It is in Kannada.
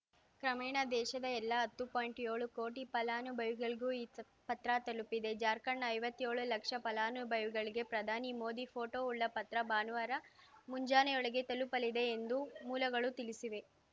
ಕ್ರಮೇಣ ದೇಶದ ಎಲ್ಲ ಹತ್ತು ಪಾಯಿಂಟ್ಯೋಳು ಕೋಟಿ ಫಲಾನುಭವಿಗಳಿಗೂ ಈ ಪತ್ರ ತಲುಪಲಿದೆ ಜಾರ್ಖಂಡ್‌ನ ಐವತ್ಯೋಳು ಲಕ್ಷ ಫಲಾನುಭವಿಗಳಿಗೆ ಪ್ರಧಾನಿ ಮೋದಿ ಫೋಟೊ ಉಳ್ಳ ಪತ್ರ ಭಾನುವಾರ ಮುಂಜಾನೆಯೊಳಗೆ ತಲುಪಲಿದೆ ಎಂದು ಮೂಲಗಳು ತಿಳಿಸಿವೆ